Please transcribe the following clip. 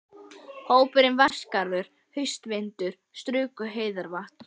Hópurinn fór Vatnsskarð, haustvindar struku heiðarvatnið.